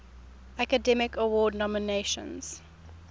academy award nominations